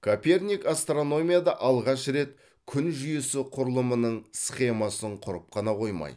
коперник астрономияда алғаш рет күн жүйесі құрылымының схемасын құрып қана қоймай